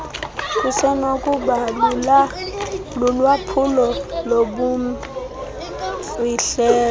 kusenokuba lulwaphulo lobumfihlelo